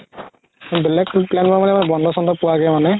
বেলগে plan কৰা মানে বন্ধো চন্ধো পোৱাকে মানে